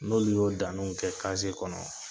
N'olu y'o danniw kɛ kaziye kɔnɔ